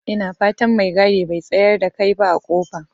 Ina fatan mai gadi bai tsayar da kai ba a kofa?